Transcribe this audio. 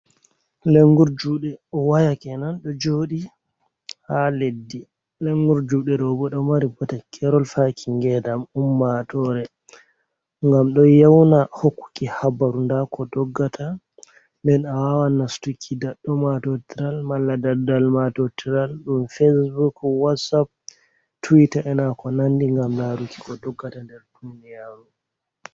Lengur jude wayakenan ,do jodi ha leddi lengur jude robodo mari botakerol faki ngedam ummatore gam do yauna hokkuki habaru ndako doggata men a wawa nastuki daddo mato tral mala daddal mato tral dum fatsbork watsap twite enako nandi gam laruki ko doggata nder duniyaru.